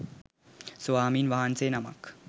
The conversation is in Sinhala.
ස්වාමීන් වහන්සේ නමක්